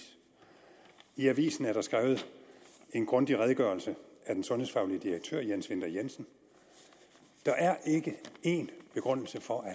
i avisen er der skrevet en grundig redegørelse af den sundhedsfaglige direktør jens winther jensen der er ikke én begrundelse for at